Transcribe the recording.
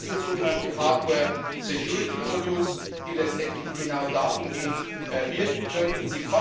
Es gibt sogenannte hardware security modules die letztendlich genau dahingehend wirken